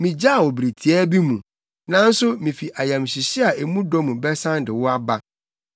“Migyaw wo bere tiaa bi mu, nanso mifi ayamhyehye a mu dɔ mu bɛsan de wo aba.